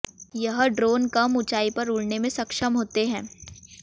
यह ड्रोन कम ऊंचाई पर उड़ने में सक्षम होते हैं